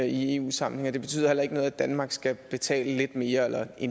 i eu sammenhæng og det betyder heller ikke noget at danmark skal betale lidt mere eller i